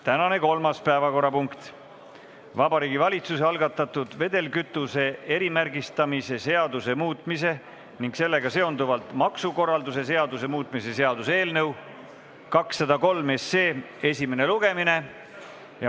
Tänane kolmas päevakorrapunkt: Vabariigi Valitsuse algatatud vedelkütuse erimärgistamise seaduse muutmise ning sellega seonduvalt maksukorralduse seaduse muutmise seaduse eelnõu 203 esimene lugemine.